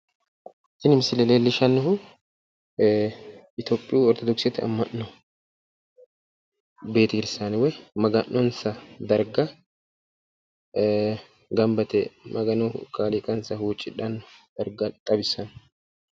Tini misile leellishshannohu itophihu ortodokisete amma'no betekirsaane woyi maga'nonsa darga gamba yite magano kaliiqansa huuccidhanno darga xawissanno.